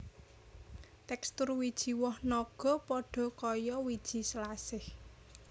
Tekstur wiji woh naga padha kaya wiji selasih